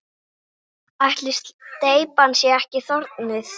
Ætli steypan sé ekki þornuð?